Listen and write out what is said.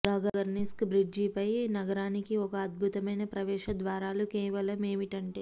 గగర్న్స్కి బ్రిడ్జిపై నగరానికి ఒక అద్భుతమైన ప్రవేశ ద్వారాలు కేవలం ఏమిటంటే